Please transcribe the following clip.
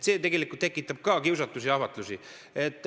See tekitab ka kiusatusi ja ahvatlusi.